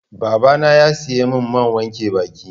Baba na ya siya min man wanke baki